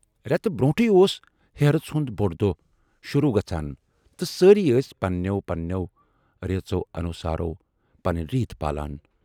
رٮ۪تہٕ برونٹھٕے اوس ہیرٕژ ہُند بوڈ دۅہ شوروٗ گَژھان تہٕ سٲری ٲسۍ پنہٕ نٮ۪و پنہٕ نٮ۪و ریٖژو انوٗسار پنٕنۍ ریٖت پالان۔